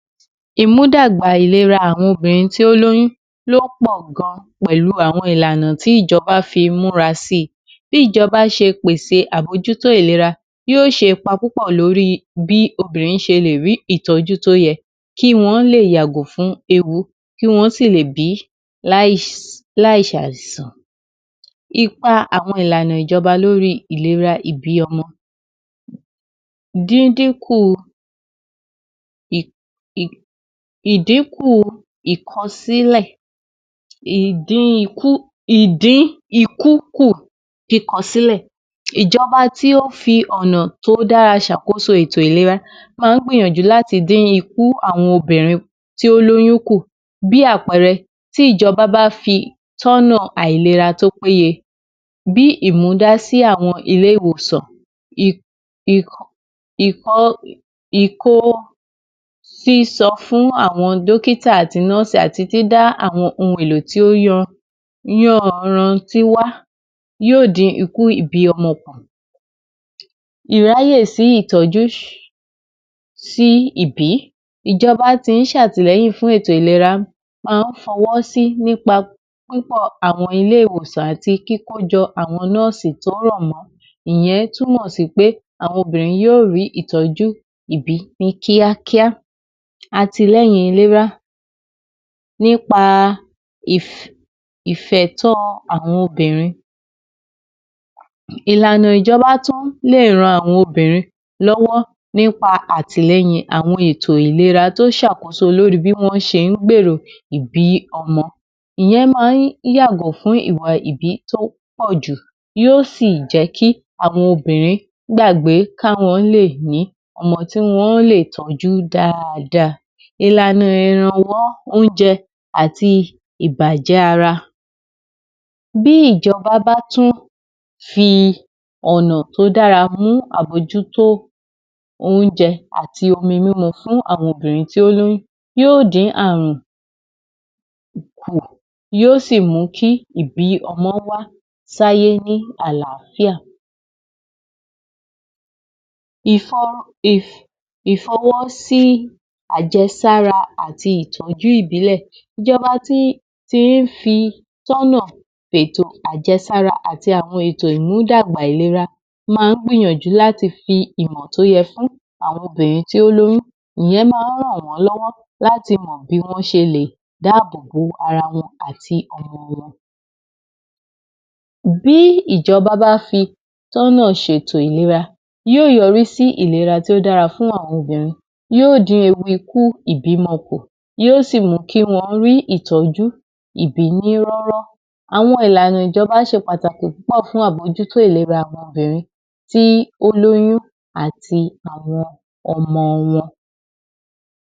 Imu dà gbà ìlera obìnrin tó ní oyùn wàn pọ gan jù àwọn ìlà náà tí ìjọba fi mura sí kí ìjọba bá se pèsè àbò jù tó ìlera yó se ipa púpọ.̀ lórí bí obìnrin se lè rí ìtọ jú tó yẹ kí wán lè yàgò fún ewu kí wán sì lè bí láì sà san ipa ìlànà àwọn ìjọba lórí ìlera ìbí ọmọ dídín kú ìkò sílẹ ìjọba tí ó fi ọ nà tó dára se àkóso ìlera máa gbìyànjú láti dì ikú àwọn ọbìnrin tí wán l’ọyùn kú bí àpẹrẹ tí ìjọba bá fi tọ ọ nà ìlera tó péye bí ìmúdà sí àwọn ilé ìwòsàn ìkòsísọ àwọn dókítà àti nùrsì àwọn èlò tísí ibi ìjọba sá tí lẹyìn fún ètò ìlera fó wò sí nípa àwọn ilé ìwòsàn àti kíkó jọ àwọn nùrsì tó ràn mọ ìyàn túmọ sí pé àwọn obìnrin yó rí ìtọ jú ìbí ní kíákíá àti ilérí ilé rárá níp ìfẹtàn àwọn obìnrin ìlànà ìjọba tún lè ràn àwọn obìnrin lọ wọ nípa àti lẹyìn àwọn ètò ìlera tó sàkóso lórí bí wán ṣe gbèrò wá yàgò fún ìbí tó pọ.̀ jù yó sì jẹ kí àwọn obìnrin gbàgbé ká wán lè ní ọmọ tó lè tọ jú dáadáa ìlànà náà ìrànwọ ara bí ìjọba bá tún fi ọ nà tó dára mú àbójútó oúnjẹ àti omi mímu fún àwọn àwọn obìnrin tó ní oyùn yó di àrùn yó sì mú kí ìbí ọmọ wá sí ayé ní àlàáfíà ìfọwọ sowọ pọ jẹ sáàrà àti ìtọ jú ìbílẹ tí fi tọ ọ nà ètò ajé sáàrà àti ìmúdàgba ìlera mú wángbéyànjú láti fi ìwàntọ yẹ fún ràn wán lọ wọ láti mọ bí wán se lè dáàbọ bo ara wọn bí ìjọba bá fi tọ ọ nà se tó ìlera yó yọrí sí ìlera tó dára fún àwọn obìnrin yó di ewu ikú ìbí mó kú yó sì wù kí wán rí ìtọ jú ìbí ní rọ rọ àwọn ìlànà ìjọba se pàtàkì amójútó ìlera obìnrin tí ó l’ọyùn àti àwọn ọmọ wán